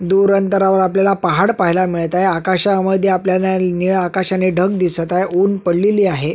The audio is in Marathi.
दूर अंतरावर आपल्याला पहाड पहायला मिळत आहे आकाशामध्ये आपल्याला निळा आकाश आणि ढग दिसत आहे उन पडलेली आहे.